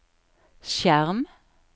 skjerm